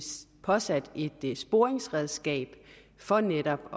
påsat et sporingsredskab for netop